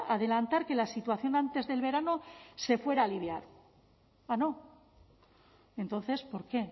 adelantar que la situación antes del verano se fuera a aliviar ah no entonces por qué